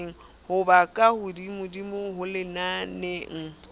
ho ba ka hodimodimo lenaneng